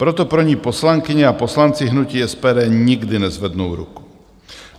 Proto pro ni poslankyně a poslanci hnutí SPD nikdy nezvednou ruku.